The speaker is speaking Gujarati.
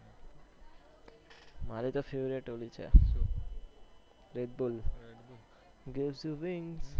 મારે તો favourite ઓલી છે redbull